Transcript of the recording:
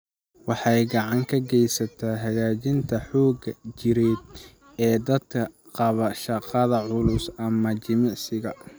Waxay gacan ka geysataa hagaajinta xoogga jireed ee dadka qaba shaqada culus ama jimicsiga.